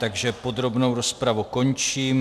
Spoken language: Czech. Takže podrobnou rozpravu končím.